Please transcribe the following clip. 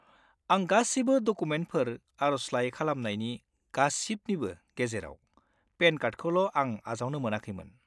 आं गासिबो डकुमेन्टफोर आरजलाइ खालामनायनि गासिबनिबो गेजेराव, पेन कार्डखौल' आं आजावनो मोनाखैमोन।